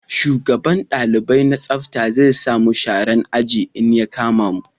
Shugaban dalibai na tsafta zai sa mu sharan aji in ya kama mu